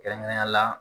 Kɛrɛnkɛrɛnnenya la